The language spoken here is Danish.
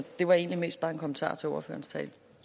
det var egentlig mest bare en kommentar til ordførerens tale